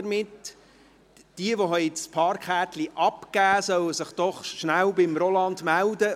Diejenigen, die ihre Parkkärtchen abgegeben haben, sollen sich doch rasch bei Roland Schneeberger melden.